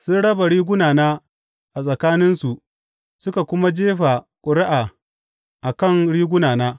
Sun raba rigunana a tsakaninsu suka kuma jefa ƙuri’a a kan rigunana.